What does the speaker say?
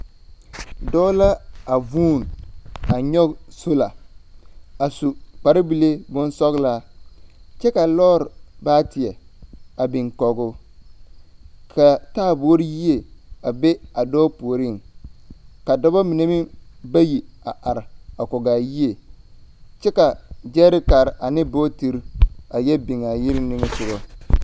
Dɔɔ la avũũni a nyɔge sola. A su kpare bile bonsɔgelaa kyɛ ka lɔɔre baateɛ a biŋ kɔge o ka taaboore yie a be a dɔɔ puoriŋ. Ka d2ba mine meŋ bayi a are ak2ge ayie kyɛ ka gyɛrekare ane bootiri a yɔ biŋ a yiri niŋe soga.